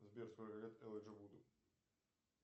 сбер сколько лет элайджа вуду